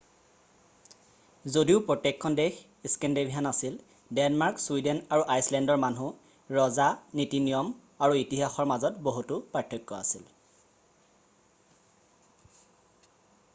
যদিও প্ৰত্যেকখন দেশ স্কেনদীভেনিয়ান' আছিল ডেনমাৰ্ক ছুইডেন আৰু আইচলেণ্ডৰ মানুহ ৰজা নীতি-নিয়ম আৰু ইতিহাসৰ মাজত বহুতো পাৰ্থক্য আছিল